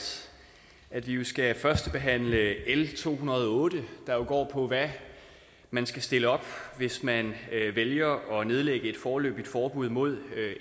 at vi skal førstebehandle l to hundrede og otte der går på hvad man skal stille op hvis man vælger at nedlægge et foreløbigt forbud mod